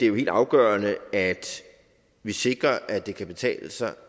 jo helt afgørende at vi sikrer at det kan betale sig